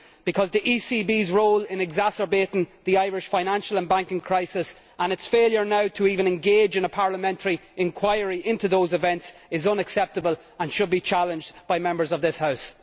Because the ECB's role in exacerbating the Irish financial and banking crisis and its failure now to even engage in a Parliamentary inquiry into those events is unacceptable and should be challenged by Members of this House.